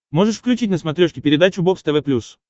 можешь включить на смотрешке передачу бокс тв плюс